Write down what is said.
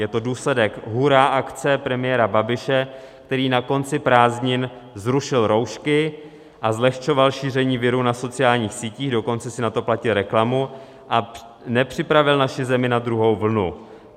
Je to důsledek hurá akce premiéra Babiše, který na konci prázdnin zrušil roušky a zlehčoval šíření viru na sociálních sítích, dokonce si na to platil reklamu, a nepřipravil naši zemi na druhou vlnu.